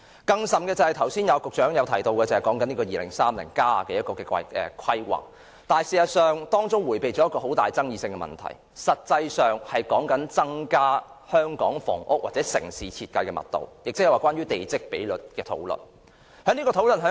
更甚的是，局長剛才提到《香港 2030+： 跨越2030年的規劃遠景與策略》的規劃，當中迴避了一個極富爭議的問題，便是有關增加香港房屋或城市設計的密度，亦即是關於地積比率的討論。